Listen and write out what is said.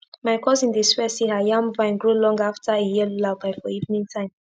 my cousin dey swear say her yam vine grow long after e hear lullaby for evening time